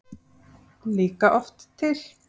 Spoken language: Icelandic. líka oft til.